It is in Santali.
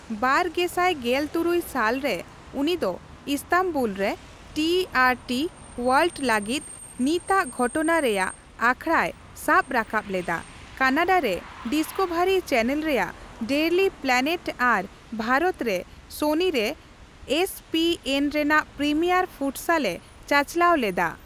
ᱵᱟᱨ ᱜᱮᱥᱟᱭ ᱜᱮᱞ ᱛᱩᱨᱩᱭ ᱥᱟᱞ ᱨᱮ ᱩᱱᱤ ᱫᱚ ᱤᱥᱛᱟᱱᱵᱩᱞ ᱨᱮ ᱴᱤᱹᱟᱨᱹᱴᱤ ᱳᱣᱟᱨᱞᱰ ᱞᱟᱹᱜᱤᱫ ᱱᱤᱛᱟᱜ ᱜᱷᱚᱴᱚᱱᱟ ᱨᱮᱭᱟᱜ ᱟᱠᱷᱲᱟᱭ ᱥᱟᱵ ᱨᱟᱠᱟᱵ ᱞᱮᱫᱟ, ᱠᱟᱱᱟᱰᱟ ᱨᱮ ᱰᱤᱥᱠᱚᱵᱷᱟᱨᱤ ᱪᱮᱱᱮᱞ ᱨᱮᱭᱟᱜ ᱰᱮᱭᱞᱤ ᱯᱞᱮᱱᱮᱴ ᱟᱨ ᱵᱷᱟᱨᱚᱛ ᱨᱮ ᱥᱳᱱᱤ ᱨᱮ ᱮᱥ ᱯᱤ ᱮᱱ ᱨᱮᱱᱟᱜ ᱯᱨᱤᱢᱤᱭᱟᱨ ᱯᱷᱩᱴᱥᱟᱞᱮ ᱪᱟᱪᱞᱟᱣ ᱞᱮᱫᱟ ᱾